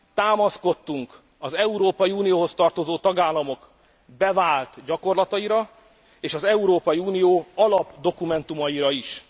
Támaszkodtunk az Európai Unióhoz tartozó tagállamok bevált gyakorlataira és az Európai Unió alapdokumentumaira is.